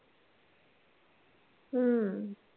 हम्म